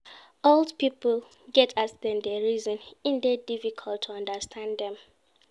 Old pipo get as dem dey reason, e dey difficult to understand dem.